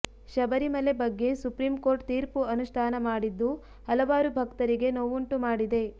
ಶಬರಿಮಲೆ ಬಗ್ಗೆ supreme court ತೀರ್ಪು ಅನುಷ್ಠಾನ ಮಾಡಿದ್ದು ಹಲವಾರು ಭಕ್ತರಿಗೆ ನೋವುಂಟು ಮಾಡಿದೆ